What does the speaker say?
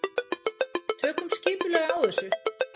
Tökum skipulega á þessu.